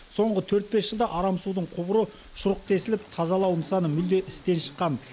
соңғы төрт бес жылда арам судың құбыры шұрық тесіліп тазалау нысаны мүлде істен шыққан